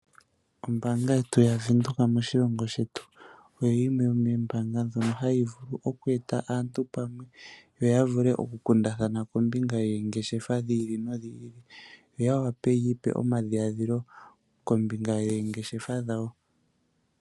Ombanga yetu yaVenduka moshilongo shetu oyo yimwe yomoombanga ndjoka hayi vulu oku eta aantu pamwe yoya vule oku kundathana kombinga yoongeshefa dhi ili nodhi ili. Yoya wape yi ipe omadhiladhilo kombinga yoongeshefa dhawo.